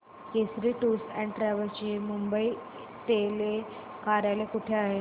Kesari tours and travels चे मुंबई तले कार्यालय कुठे आहे